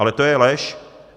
Ale to je lež.